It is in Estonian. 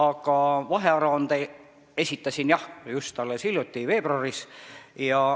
Aga vahearuande ma esitasin jah, just alles hiljuti, veebruaris.